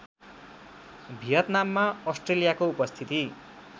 भियतनाममा अस्ट्रेलियाको उपस्थिति